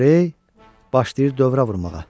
O, başlayır dövrə vurmağa.